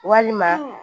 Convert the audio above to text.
Walima